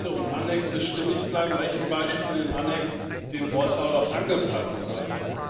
Texte und Anhänge stimmig bleiben, Rechenbeispiele im Anhang dem Wortlaut auch angepasst sein.